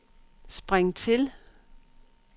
spring til